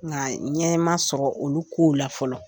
Nga ɲɛ ma sɔrɔ olu kow la fɔlɔ .